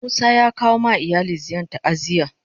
Musa ya kawo ma iyali ziyarn ta'aziyya.